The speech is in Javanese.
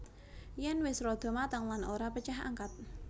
Yen wis rada mateng lan ora pecah angkat